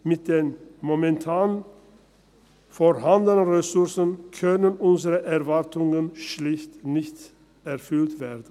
Mit den momentan vorhandenen Ressourcen können unsere Erwartungen schlicht nicht erfüllt werden.